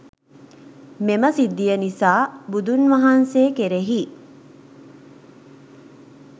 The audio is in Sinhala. මෙම සිද්ධිය නිසා, බුදුන් වහන්සේ කෙරෙහි